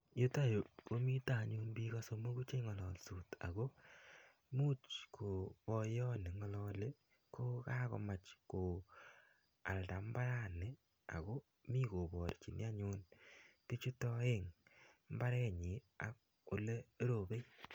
yutayu komitaianyun pik somok chengalaldos ako imuch kopoyot nengalali kokamomach ko alda mbarani ako mi koparchini anyun pichutak aeng mbarenyi ak olerope.